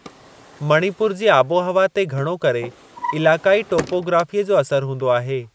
मणिपुर जी आबोहवा ते घणो करे इलाक़ाई टोपोग्राफ़ीअ जो असरु हूंदो आहे।